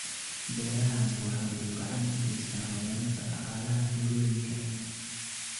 Beerahani waxa uu gacan ka geystaa horumarinta dhaqaalaha tuulooyinka.